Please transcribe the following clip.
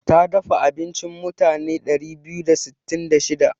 Ta dafa abinci mutane ɗari biyu da sittin da shida.